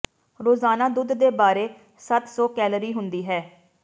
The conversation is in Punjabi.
ਰੋਜ਼ਾਨਾ ਦੁੱਧ ਦੇ ਬਾਰੇ ਸੱਤ ਸੌ ਕੈਲੋਰੀ ਹੁੰਦੀ ਹੈ